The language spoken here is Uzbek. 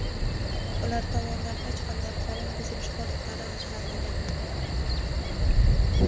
Ular tomonidan hech qanday qonun buzilish holatlari aniqlanmagan.